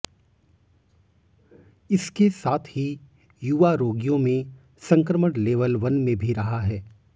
इसके साथ ही युवा रोगियों में संक्रमण लेवल वन में भी रहा है